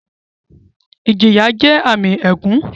Ìjìyà jẹ́ àmì ègún